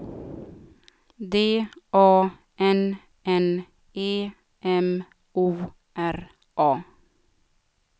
D A N N E M O R A